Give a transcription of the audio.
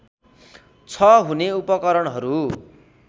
छ हुने उपकरणहरू